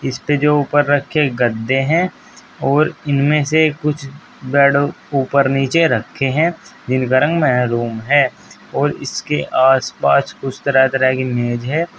इसपे जो ऊपर रखें गद्दे हैं और इनमें से कुछ बेड ऊपर नीचे रखे हैं जिनका रंग मैहरूम है और इसके आस पास कुछ तरह तरह के मेज हैं।